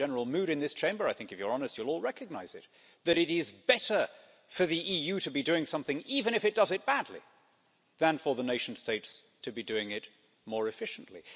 There's a general mood in this Chamber I think if you're honest, you'll all recognise it that it is better for the EU to be doing something even if it does it badly, than for the nation states to be doing it more efficiently.